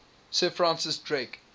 sir francis drake